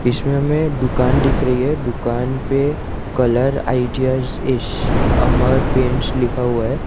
इसमें हमे दुकान दिख रही है दुकान पे कलर आईडियाज इस अमर पेंट्स लिखा हुआ है।